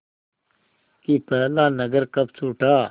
कि पहला नगर कब छूटा